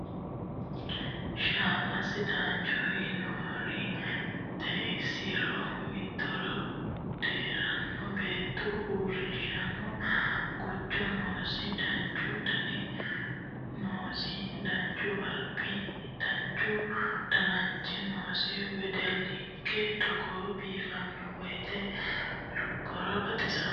Shama sidaanchoti yiniro xeanosiri miturino diheerano beettu uurrinshamoho guju noosi danchu dani noosi danchu albi danchu dananchi noosi wedellinke togo biifano woyte lubbora baxisanoe.